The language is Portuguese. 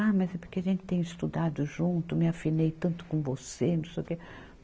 Ah, mas é porque a gente tem estudado junto, me afinei tanto com você, não sei o quê.